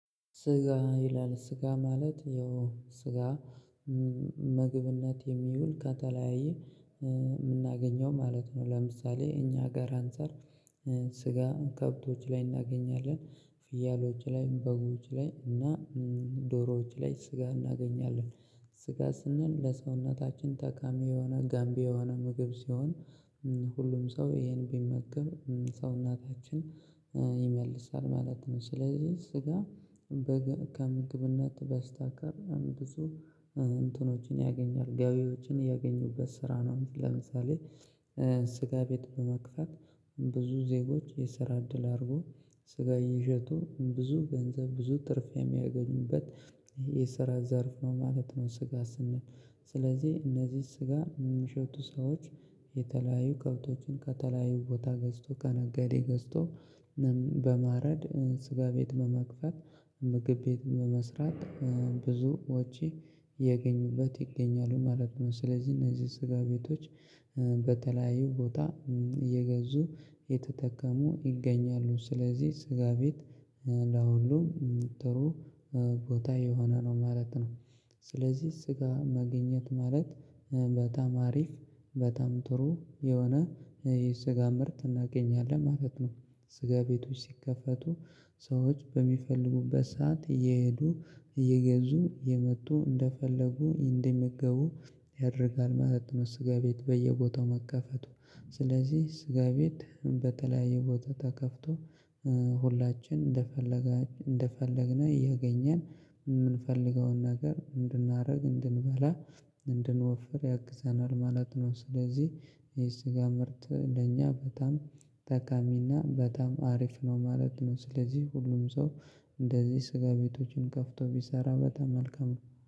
ስጋ ይላል ስጋ ማለት ያው ስጋ ምግብነት የሚውል ከተለያየ የምናገኘው ማለት ነው። ለምሳሌ እኛ ሀገር አንፃር ስጋ ከብቶች ላይ እናገኛለን ፍያሎች ላይም በጎች ላይ እና ዶሮዎች ላይ ስጋ እናገኛለን ስጋ ስንል ለሰውነታችን ጠቃሚ የሆነ ጋምቢ የሆነ ምግብ ሲሆን ሁሉም ሰው ይሄን ቢመገብ ሰው ኘታችን ይመልሳል ማለት ነው። ስለዚህ ስጋ። ከምግብነት በስተቀር ብዙ እንትኖችን ያገኛል ገቢዎችን ያገኙበት ስራ ነው። ለምሳሌ ስጋ ቤት በመክፈት ብዙ ዜጎች የስራ እድል አድርጎ ስጋ እየሸጡ ብዙ ገንዘብ ብዙ ትርፍ የሚያገኙበት የሰራ ዘርፍ ነው ማለት ነው። ስጋ ስንል ስለዚህ እነዚህ ስጋ የሚሸጡ ሰዎች የተለያዩ ከብቶችን ከተለያዩ ቦታ ገዝቶ ከነገዴ ገዝቶ በማረድ ስጋ ቤት በመክፈት ምግብ ቤት በመስራት ብዙዎች የገኙበት ይገኛሉ ማለት ነው። ስለዚህ እነዚህ ስጋ ቤቶች። በተለያዩ ቦታ እየገዙ እየተጠቀሙ ይገኛሉ ስለዚህ ስጋ ቤት ለሁሉም ጥሩ ቦታ የሆነ ነው ማለት ነው። ስለዚህ ስጋ መገኘት ማለት በጣም አሪፍ በጣም ጥሩ የሆነ የስጋ ምርት እናገኛለን ማለት ነው። ስጋ ቤቶች ሲከፈቱ ሰዎች በሚፈልጉበት ሰዓት እየሄዱ እየገዙ የመጡ እንደፈለጉ እንደሚገቡ ያደርጋል ማለት ነው። ስጋ ቤት በየቦታው መከፈቱ። ስለዚህ ስጋ ቤት በተለያየ ቦታ ተከፍቶ ሁላችን እንደፈለግን እንደፈለግን ያገኘን የምንፈልገውን ነገር እንድናደርግ እንድንበላ እንድንወፍር ያግዘናል ማለት ነው። ስለዚህ የስጋ ምርት ለእኛ በጣም ጠቃሚና በጣም አሪፍ ነው ማለት ነው። ስለዚህ ሁሉም ሰው እንደዚህ ስጋ ቤቶችን ከፍቶ ቢሰራ በጣም መልካም ነው